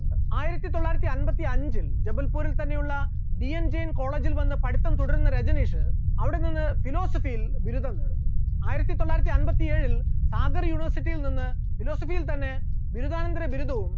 ആയിരത്തിത്തൊള്ളായിരത്തി അൻപത്തിഅഞ്ചു ജബൽപൂരിൽ തന്നെയുള്ള D Enging college ൽ വന്ന് പഠിത്തം തുടരുന്ന രജനീഷ് അവിടെ നിന്ന് philosophy യിൽ ബിരുദം നേടുന്നു, ആയിരത്തിത്തൊള്ളായിരത്തി അൻപത്തിയേഴിൽ സാഗർ university യിൽ നിന്ന് philosophy യിൽ തന്നെ ബിരുദാനന്തര ബിരുദവും